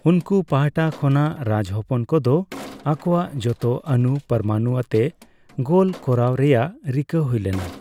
ᱩᱱᱠᱩ ᱯᱟᱦᱟᱴᱟ ᱠᱷᱚᱱᱟᱜ, ᱨᱟᱡᱽ ᱦᱚᱯᱚᱱ ᱠᱚᱫᱚ ᱟᱠᱚᱣᱟᱜ ᱡᱚᱛᱚ ᱚᱱᱩᱼ ᱯᱚᱨᱚᱢᱟᱱᱩ ᱟᱛᱮ ᱜᱳᱞ ᱠᱚᱨᱟᱣ ᱨᱮᱭᱟᱜ ᱨᱤᱠᱟᱹ ᱦᱩᱭᱞᱮᱱᱟ ᱾